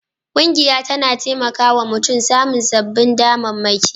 Ƙungiya tana taimaka wa mutum samun sababbin damammaki